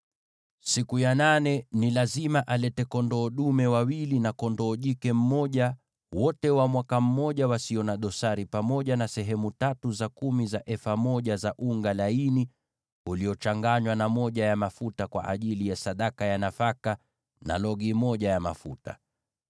“Siku ya nane, ni lazima alete kondoo dume wawili na kondoo jike mmoja, wote wa mwaka mmoja na wasio na dosari, pamoja na sehemu tatu za kumi za efa za unga laini uliochanganywa na mafuta, kwa ajili ya sadaka ya nafaka, na logi moja ya mafuta.